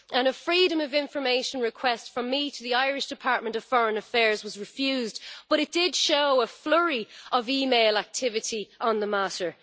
A Freedom of Information request from me to the Irish Department of Foreign Affairs was refused, but it did show a flurry of email activity on the matter.